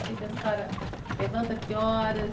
O que que a senhora, levanta que horas?